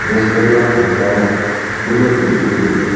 Stage ஓட பிரண்டுல bill பிடிச்சுருக்குது.